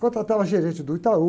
Contratavam a gerente do Itaú.